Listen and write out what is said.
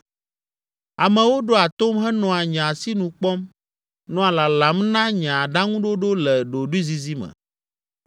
“Amewo ɖoa tom henɔa nye asinu kpɔm, nɔa lalam na nye aɖaŋuɖoɖo le ɖoɖoezizi me.